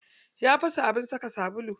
Ya fasa abin saka sabulu.